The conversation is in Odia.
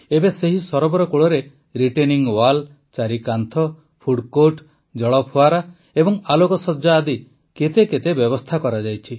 ଏବେ ସେହି ସରୋବର କୂଳରେ ରିଟେନିଂ ୱାଲ୍ ଚାରିକାନ୍ଥ ଫୁଡ କୋର୍ଟ ଜଳଫୁଆରା ଓ ଆଲୋକସଜ୍ଜା ଆଦି କେତେ କେତେ ବ୍ୟବସ୍ଥା କରାଯାଇଛି